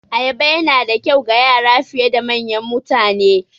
Ayaba Yana da kyau ga Yara fiye da manyan mutane